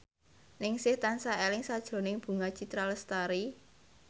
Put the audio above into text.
Ningsih tansah eling sakjroning Bunga Citra Lestari